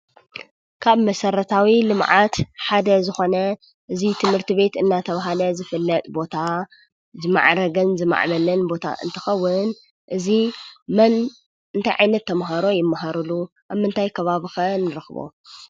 ካብ መሰረታዊ ልምዓት ሓደ ዝኾነ እዚ ትምህርቲ ቤት እናተባሃለ ዝፍለጥ ቦታ ዝማዕረገን ዝማዕበለን ቦታ እንትኸውን እዚ መን ?እንታይ ዓይነት ተማሃሮ ይማሃርሉ? ኣብ መንታገይ ከባቢ ከ ንረኽቦ?